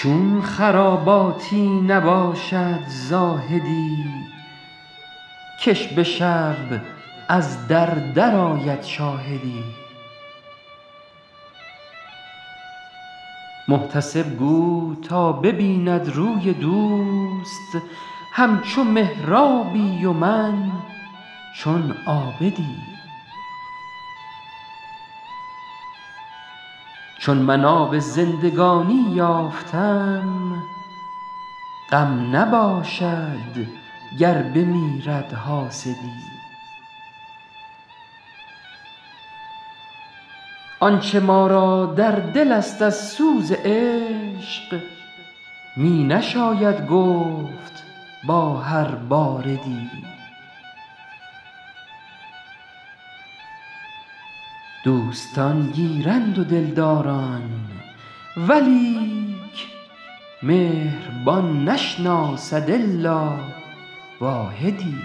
چون خراباتی نباشد زاهدی که ش به شب از در درآید شاهدی محتسب گو تا ببیند روی دوست همچو محرابی و من چون عابدی چون من آب زندگانی یافتم غم نباشد گر بمیرد حاسدی آنچه ما را در دل است از سوز عشق می نشاید گفت با هر باردی دوستان گیرند و دلداران ولیک مهربان نشناسد الا واحدی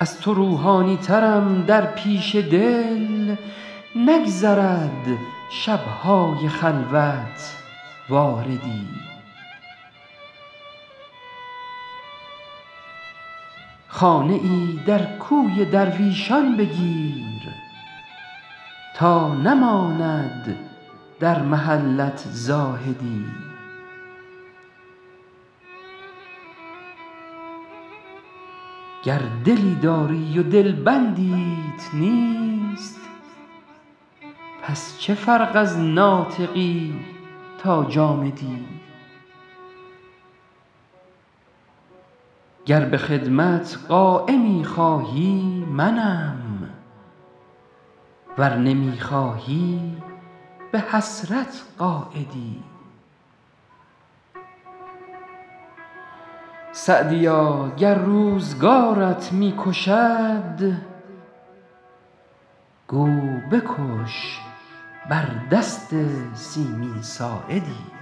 از تو روحانی ترم در پیش دل نگذرد شب های خلوت واردی خانه ای در کوی درویشان بگیر تا نماند در محلت زاهدی گر دلی داری و دلبندیت نیست پس چه فرق از ناطقی تا جامدی گر به خدمت قایمی خواهی منم ور نمی خواهی به حسرت قاعدی سعدیا گر روزگارت می کشد گو بکش بر دست سیمین ساعدی